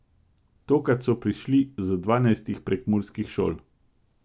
Tokrat so prišli z dvanajstih prekmurskih šol.